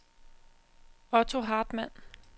Otto Hartmann